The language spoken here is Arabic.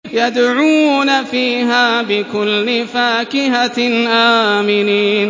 يَدْعُونَ فِيهَا بِكُلِّ فَاكِهَةٍ آمِنِينَ